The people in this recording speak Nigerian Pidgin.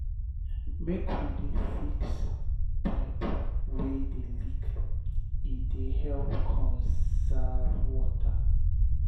make we dey fix pipe wey dey leak e dey help conserve water.